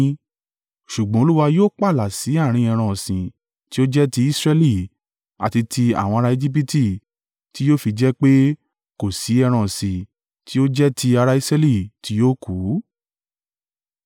Ṣùgbọ́n Olúwa yóò pààlà sí àárín ẹran ọ̀sìn tí ó jẹ́ ti Israẹli àti ti àwọn ara Ejibiti tí yóò fi jẹ́ pé kò sí ẹran ọ̀sìn ti ó jẹ́ ti ará Israẹli tí yóò kùú.’ ”